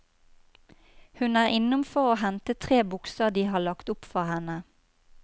Hun er innom for å hente tre bukser de har lagt opp for henne.